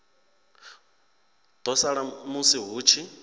ḓo sala musi hu tshi